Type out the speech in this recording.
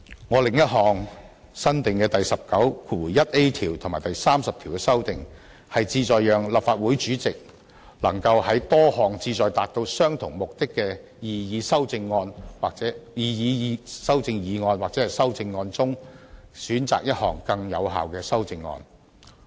我另一項新訂第19條和對第30條的修訂，旨在讓立法會主席能夠在多項旨在達到相同目的的擬議修正議案或修正案中，選擇更有效的修正案。